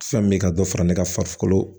Fɛn min bɛ ka dɔ fara ne ka farikolo